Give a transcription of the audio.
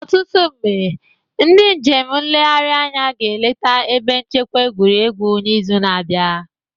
Ọtụtụ ndị njem nlegharị anya ga-eleta ebe nchekwa egwuregwu n'izu na-abịa